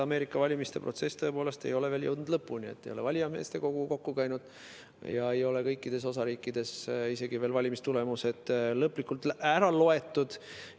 Ameerika valimiste protsess ei ole tõepoolest veel lõpule jõudnud, valijameeste kogu ei ole koos käinud, kõikides osariikides ei ole isegi valimistulemused veel lõplikult kokku loetud.